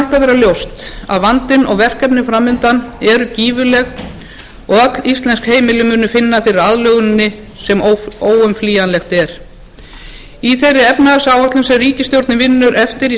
ljóst að vandinn og verkefni fram undan eru gífurleg og öll íslensk heimili munu finna fyrir aðlöguninni sem óumflýjanlegt er í þeirri efnahagsáætlun sem ríkisstjórnin vinnur eftir í